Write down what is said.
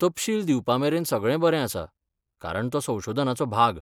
तपशील दिवपामेरेन सगळें बरें आसा, कारण तो संशोधनाचो भाग.